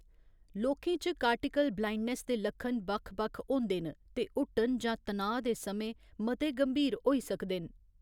लोकें च cortical blindness दे लक्षण बक्ख बक्ख होंदे न ते हुट्टन जां तनाऽ दे समें मते गंभीर होई सकदे न।